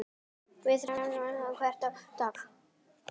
Það rigndi hvern einasta dag.